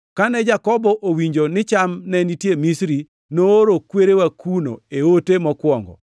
Kane Jakobo owinjo ni cham ne nitie Misri, nooro kwerewa kuno e ote mokwongo.